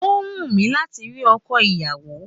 Ó wù mí láti ri ọkọ ìyàwó